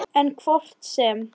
En hvort sem